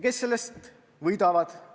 Kes sellest võidavad?